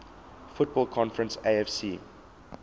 football conference afc